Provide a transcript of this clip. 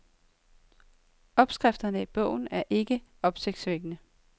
Opskrifterne i bogen er ikke opsigtsvækkende.